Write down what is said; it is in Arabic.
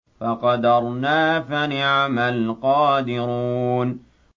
فَقَدَرْنَا فَنِعْمَ الْقَادِرُونَ